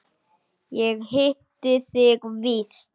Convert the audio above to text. Ég hitti þig víst!